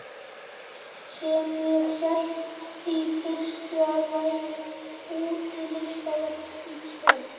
Sem ég hélt í fyrstu að væri útilistaverk í tjörn.